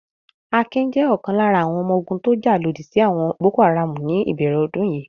Akin jẹ́ ọ̀kan lára àwọn ọmọ ogun tó jà lòdì sí àwọn Boko-Haram ní ìbẹ̀rẹ̀ ọdún yìí.